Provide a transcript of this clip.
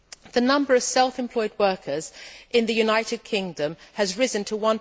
The number of self employed workers in the United Kingdom has risen to